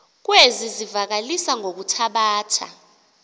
kwezi zivakalisi ngokuthabatha